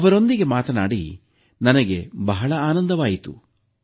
ಅವರೊಂದಿಗೆ ಮಾತಾಡಿ ನನಗೆ ಬಹಳ ಆನಂದವಾಯಿತು